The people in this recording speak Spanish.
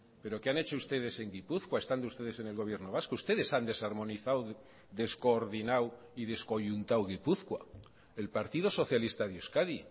pero qué han hecho ustedes en gipuzkoa estando ustedes en el gobierno vasco ustedes han desarmonizado descoordinado y descoyuntado gipuzkoa el partido socialista de euskadi